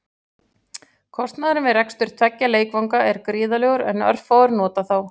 Kostnaðurinn við rekstur tveggja leikvanga er gríðarlegur en örfáir nota þá.